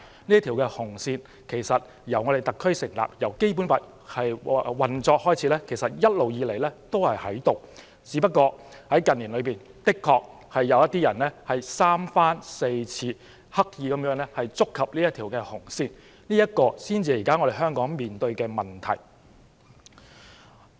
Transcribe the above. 這條"紅線"由特區政府成立及《基本法》開始運作起已一直存在，只不過近年有人三番四次刻意觸及這條"紅線"，這才是現時香港面對的問題。